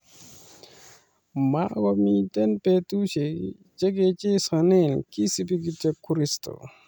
Makomii betusiek chekechesone kisubi kityo kristo